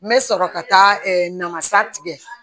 N bɛ sɔrɔ ka taa namasa tigɛ